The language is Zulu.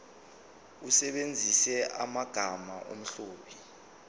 usebenzise amagama omlobi